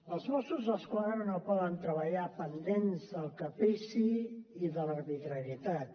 els mossos d’esquadra no poden treballar pendents del caprici i de l’arbitrarietat